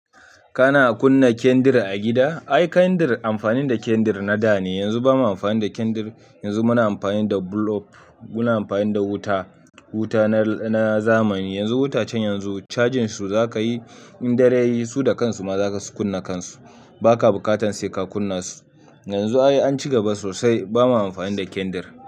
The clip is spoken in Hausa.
Kana kunna kyandir a gida? Ai kandir amfani da kyandir na da ne, yanzu bamu amfani da kyandir. Yanzu muna amfani da bulb, muna amfani da wuta, wuta na zamani. Yanzu wutacen yanzu cajin su zaka yi, in dare yayi su da kansu ma za su kunna kansu. Baka buƙatan sai ka kunna su. Yanzu ai an cigaba sosai, ba ma amfani da kyandir.